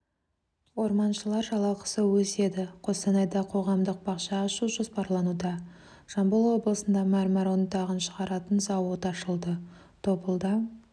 орманшылар жалақысы өседі қостанайда қоғамдық бақша ашу жоспарлануда жамбыл облысында мәрмәр ұнтағын шығаратын зауыт ашылды тобылда